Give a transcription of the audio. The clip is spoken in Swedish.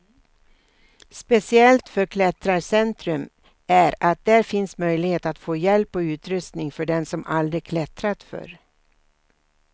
Speciellt för klättrarcentrum är att där finns möjlighet att få hjälp och utrustning för den som aldrig klättrat förr.